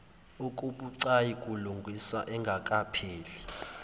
okubucayi kulungiswa engakapheli